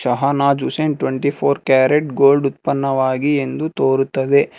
Twenty four carat gold ಉತ್ಪನ್ನವಾಗಿ ಎಂದು ತೋರುತ್ತದೆ.